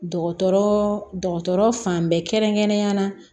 Dɔgɔtɔrɔ dɔgɔtɔrɔ fan bɛɛ kɛrɛn kɛrɛnyana